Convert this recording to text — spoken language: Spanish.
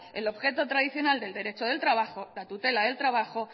el objeto tradicional del derecho del trabajo la tutela del trabajo